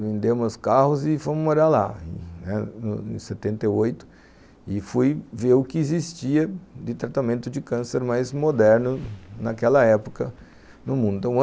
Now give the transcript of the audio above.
Vendemos os carros e fomos morar lá, em setenta e oito, e fui ver o que existia de tratamento de câncer mais moderno naquela época no mundo.